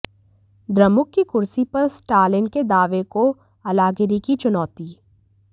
द्रमुक की कुर्सी पर स्टालिन के दावे को अलागिरि की चुनौती